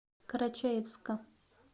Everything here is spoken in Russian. карачаевска